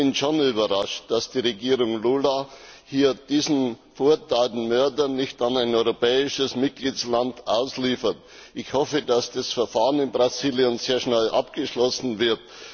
Ich bin schon überrascht, dass die Regierung Lula diesen verurteilten Mörder nicht an ein europäisches Mitgliedsland ausliefert. Ich hoffe, dass das Verfahren in Brasilien sehr schnell abgeschlossen wird.